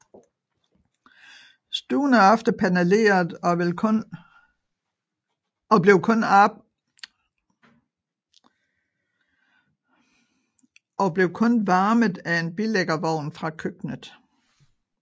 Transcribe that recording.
Stuen er ofte paneleret og blev kun varmet af en bilæggerovn fra køkkenet